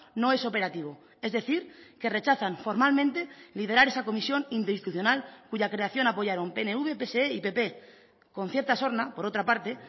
no es operativo es decir que rechazan formalmente liderar esa comisión interinstitucional cuya creación apoyaron pnv pse y pp con cierta sorna por otra parte